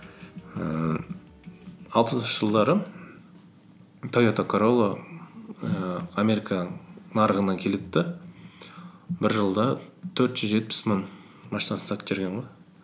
ііі алпысыншы жылдары тойота королла ііі америка нарығына келеді де бір жылда төрт жүз жетпіс мың машинасын сатып жіберген ғой